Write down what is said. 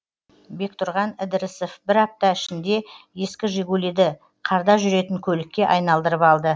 бектұрған ідірісов бір апта ішінде ескі жигулиді қарда жүретін көлікке айналдырып алды